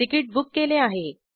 ticket book केले आहे